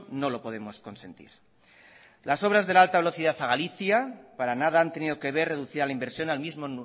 no lo podemos consentir las obras de alta velocidad a galicia para nada han tenido que ver reducida la inversión al mismo